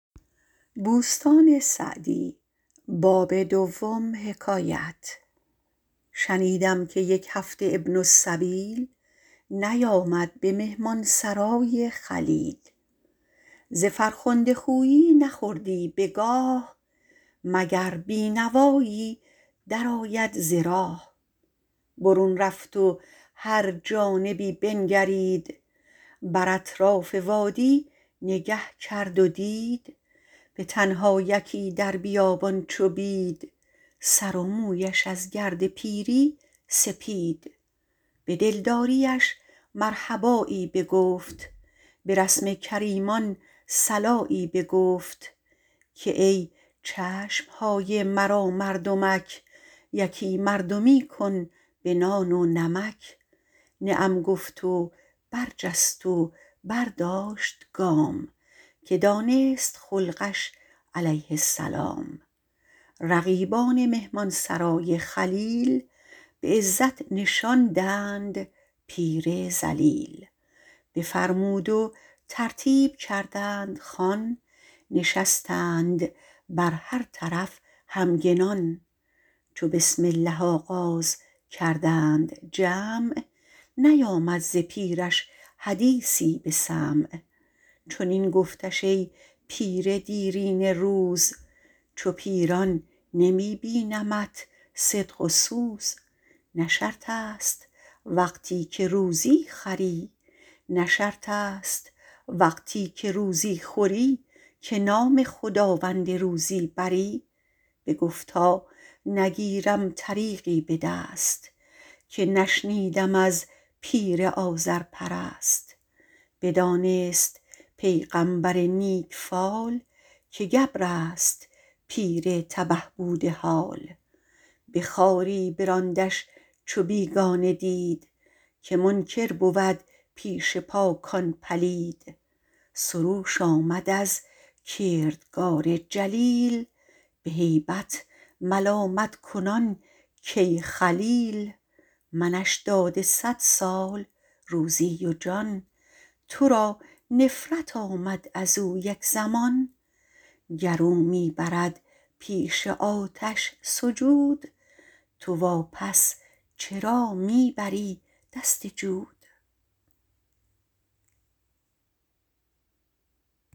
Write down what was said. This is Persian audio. شنیدم که یک هفته ابن السبیل نیامد به مهمانسرای خلیل ز فرخنده خویی نخوردی بگاه مگر بینوایی در آید ز راه برون رفت و هر جانبی بنگرید بر اطراف وادی نگه کرد و دید به تنها یکی در بیابان چو بید سر و مویش از گرد پیری سپید به دلداریش مرحبایی بگفت به رسم کریمان صلایی بگفت که ای چشمهای مرا مردمک یکی مردمی کن به نان و نمک نعم گفت و برجست و برداشت گام که دانست خلقش علیه السلام رقیبان مهمانسرای خلیل به عزت نشاندند پیر ذلیل بفرمود و ترتیب کردند خوان نشستند بر هر طرف همگنان چو بسم الله آغاز کردند جمع نیامد ز پیرش حدیثی به سمع چنین گفتش ای پیر دیرینه روز چو پیران نمی بینمت صدق و سوز نه شرط است وقتی که روزی خوری که نام خداوند روزی بری بگفتا نگیرم طریقی به دست که نشنیدم از پیر آذرپرست بدانست پیغمبر نیک فال که گبر است پیر تبه بوده حال به خواری براندش چو بیگانه دید که منکر بود پیش پاکان پلید سروش آمد از کردگار جلیل به هیبت ملامت کنان کای خلیل منش داده صد سال روزی و جان تو را نفرت آمد از او یک زمان گر او می برد پیش آتش سجود تو وا پس چرا می بری دست جود